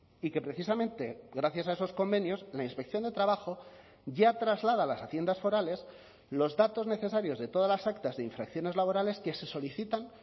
y que precisamente gracias a esos convenios la inspección de trabajo ya traslada a las haciendas forales los datos necesarios de todas las actas de infracciones laborales que se solicitan